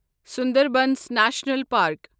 Sundarbans national park